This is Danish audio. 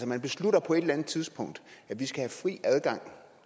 man beslutter på et eller andet tidspunkt at vi skal have fri adgang